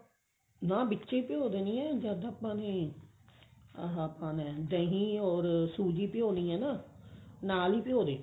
ਨਾ ਵਿੱਚ ਹੀ ਭਿਉਂ ਦੇਣੀ ਹੈ ਜਦ ਆਪਾਂ ਨੇ ਆਹ ਪਾਉਣਾ ਦਹੀਂ ਓਰ ਸੂਜੀ ਭਿਉਣੀ ਹੈ ਨਾ ਨਾਲ ਹੀ ਭਿਉਂ ਦੇ